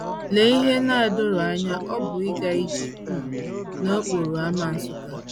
LEE ihe na - adọrọ anya ọ bụ ịga ije um n’okporo ámá Nsukka!